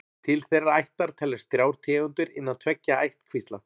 Til þeirrar ættar teljast þrjár tegundir innan tveggja ættkvísla.